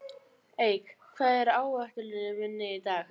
Eik, hvað er á áætluninni minni í dag?